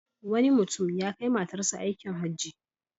Wani mutum ya kai matarsa aikin Hajji.